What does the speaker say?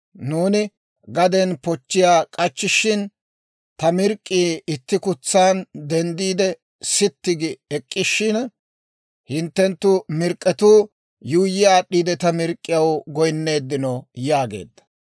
Nuuni gaden pochchiyaa k'achchishin, ta mirk'k'ii itti kutsaan denddiide sitti gi ek'k'ishshina, hinttenttu mirk'k'etuu yuuyyi aad'd'iide ta mirk'k'iyaw goynneeddinno» yaageedda.